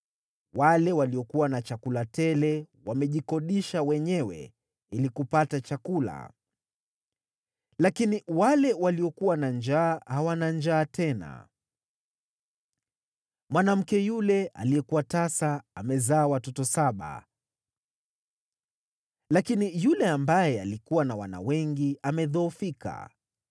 Wale waliokuwa na chakula tele wamejikodisha wenyewe ili kupata chakula, lakini wale waliokuwa na njaa hawana njaa tena. Mwanamke yule aliyekuwa tasa amezaa watoto saba, lakini yule ambaye alikuwa na wana wengi amedhoofika.